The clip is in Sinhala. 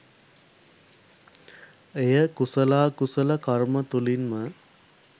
එය කුසලාකුසල කර්ම තුළින්ම